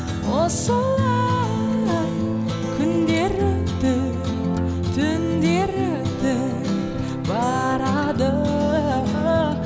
осылай күндер өтіп түндер өтіп барады